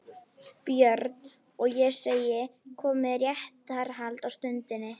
BJÖRN: Og ég segi: Komið í réttarhald á stundinni